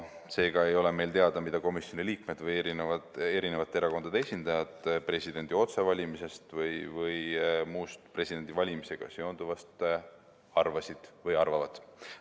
Seega ei ole meile teada, mida komisjoni liikmed või erinevate erakondade esindajad presidendi otsevalimisest või muust presidendivalimisega seonduvast arvasid või arvavad.